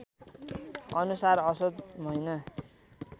अनुसार असोज महिना